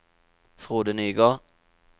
Frode Nygård